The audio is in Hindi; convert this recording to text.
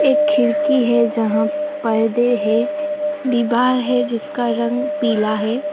एक खिड़की है जहां पर्दे है दीवार है जिसका रंग पीला है।